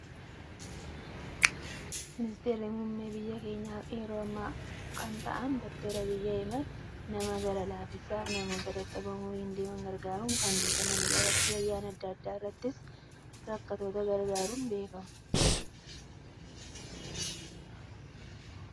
Ministeerri muummee biyya keenyaa yeroo ammaa kan ta'an Doktor Abiyyi Ahimad, nama gara laafessaa fi namoota dadhaboo umuriin deeman gargaaruun kan beekamanidha. Waktii ayyaana addaa addaa irrattis rakkattoota gargaaruun beekamu.